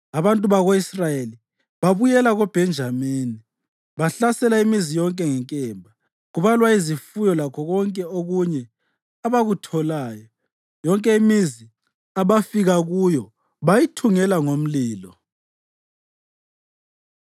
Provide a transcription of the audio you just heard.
Abantu bako-Israyeli babuyela koBhenjamini bahlasela imizi yonke ngenkemba, kubalwa izifuyo lakho konke okunye abakutholayo. Yonke imizi abafika kuyo bayithungela ngomlilo.